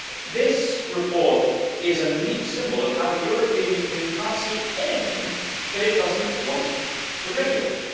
This report is a neat symbol of how the European Union can't see anything that it doesn't want to regulate.